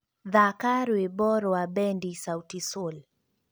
thaaka rwĩmbo rwa bendi sauti sol